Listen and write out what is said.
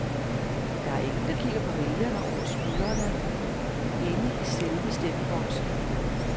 Der er ingen, der kigger vælgerne over skuldrene inde i selve stemmeboksen.